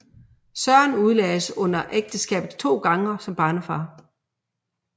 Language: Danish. Søren udlagdes under ægteskabet to gange som barnefar